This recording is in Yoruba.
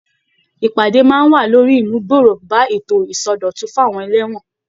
Ìpàdé máa wà lórí ìmúgbòrò bá ètò ìsọdọ̀tun fún àwọn ẹlẹ́wọ̀n.